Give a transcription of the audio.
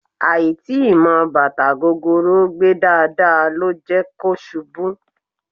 Àì tíì mọ bàtà gogoro gbé dáadáa ló jẹ́ kó ṣubú